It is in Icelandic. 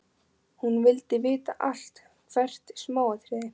Hún vildi vita allt, hvert smáatriði.